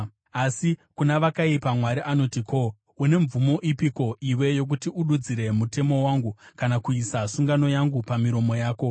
Asi kuna vakaipa, Mwari anoti: “Ko, une mvumo ipiko iwe yokuti ududzire mutemo wangu, kana kuisa sungano yangu pamiromo yako?